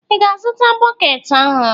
Ị ga-azụta bọket ọhụrụ?